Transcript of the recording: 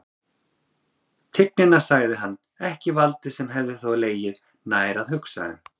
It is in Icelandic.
Tignina, sagði hann, ekki valdið, sem hefði þó legið nær að hugsa um.